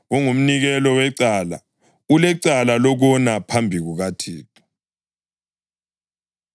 Kungumnikelo wecala: ulecala lokona phambi kukaThixo.”